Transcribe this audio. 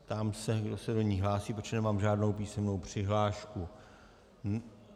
Ptám se, kdo se do ní hlásí, protože nemám žádnou písemnou přihlášku.